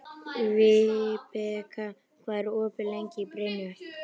Vibeka, hvað er opið lengi í Brynju?